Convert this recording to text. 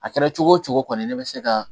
A kɛra cogo cogo kɔni ne bɛ se ka